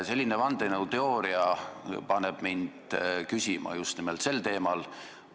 Selline vandenõuteooria paneb mind küsima just nimelt sel teemal.